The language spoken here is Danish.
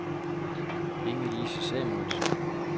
Inge-Lise Samuelsen